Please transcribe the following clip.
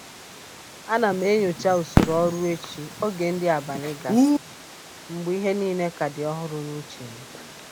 A na m enyocha usoro ọrụ echi oge nri abalị gasịrị, mgbe ihe niile ka dị ọhụrụ n'uche m.